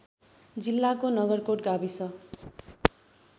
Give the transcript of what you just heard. जिल्लाको नगरकोट गाविस